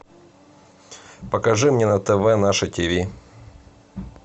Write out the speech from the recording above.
покажи мне на тв наше тиви